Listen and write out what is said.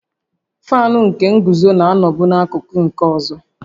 Faanụ nke nguzo na-anọbu n'akụkụ nke ọzọ